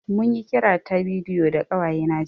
Mun yi kira ta bidiyo da ƙawaye na jiya